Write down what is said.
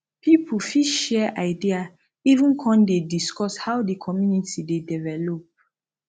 pipo fit share idea even con dey discuss how di community dey develop